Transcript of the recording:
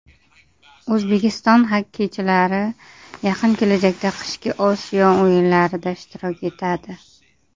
O‘zbekiston xokkeychilari yaqin kelajakda qishki Osiyo o‘yinlarida ishtirok etadi.